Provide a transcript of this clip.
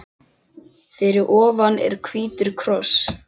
Fyrir ofan er hvítur kross.